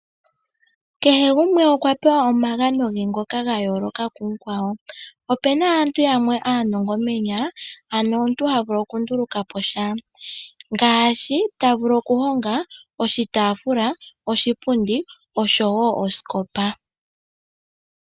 Kehe gumwe okwa pewa omagano ge ngoka ga yooloka ku mukwawo, opena aantu yamwe aanongo moonyala, ano omuntu ha vulu okunduluka po sha. Ngaashi ta vulu okuhonga oshitafula, oshipundi, oshowo osikopa.